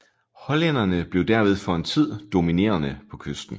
Hollænderne blev derved for en tid dominerende på kysten